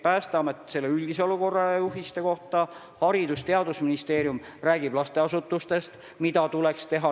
Päästeamet jagab juhiseid üldise olukorra kohta, Haridus- ja Teadusministeerium räägib lasteasutustes, mida tuleks teha.